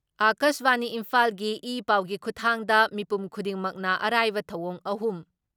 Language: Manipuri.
ꯑꯀꯥꯁꯕꯥꯅꯤ ꯏꯝꯐꯥꯜꯒꯤ ꯏ ꯄꯥꯎꯒꯤ ꯈꯨꯊꯥꯡꯗ ꯃꯤꯄꯨꯝ ꯈꯨꯗꯤꯡꯃꯛꯅ ꯑꯔꯥꯏꯕ ꯊꯧꯑꯣꯡ ꯑꯍꯨꯝ